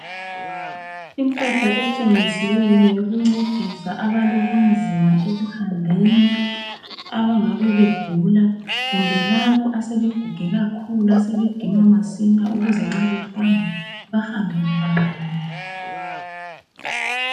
Impahla etshengisiweyo eyokuncedisa abalobunzima ekuhambeni abangabe egula kumbe labo asebeguge kakhulu asebedinwa masinya ukuze nxa behamba bahambe lula.